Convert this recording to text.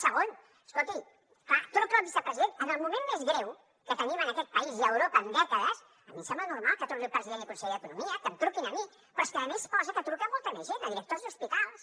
segon escolti clar truca al vicepresident en el moment més greu que tenim en aquest país i a europa en dècades a mi em sembla normal que truqui al president i conseller d’economia que em truqui a mi però és que a més posa que truca a molta més gent a directors d’hospitals